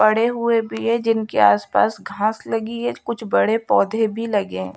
पड़े हुए भी है जिनके आसपास घास लगी है कुछ बड़े पौधे भी लगे हैं।